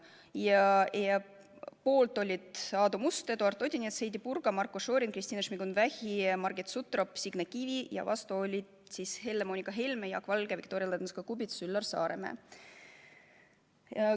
Poolt olid Aadu Must, Eduard Odinets, Heidy Purga, Marko Šorin, Kristina Šmigun-Vähi, Margit Sutrop ja Signe Kivi, vastu olid Helle-Moonika Helme, Jaak Valge, Viktoria Ladõnskaja-Kubits ja Üllar Saaremäe.